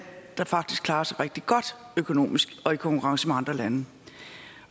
faktisk klarer sig rigtig rigtig godt økonomisk og i konkurrence med andre lande